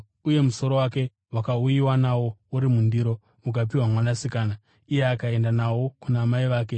Uye musoro wake wakauyiwa nawo uri mundiro ukapiwa kumusikana, iye akaenda nawo kuna mai vake.